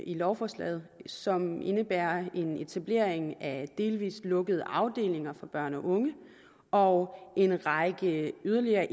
i lovforslaget som indebærer en etablering af delvis lukkede afdelinger for børn og unge og en række yderligere